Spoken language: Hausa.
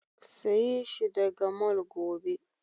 Sayi shi daga mall gobe!